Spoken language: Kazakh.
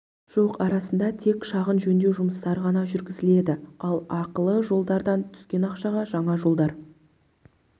жоқ арасында тек шағын жөндеу жұмыстары ғана жүргізіледі ал ақылы жолдардан түскен ақшаға жаңа жолдар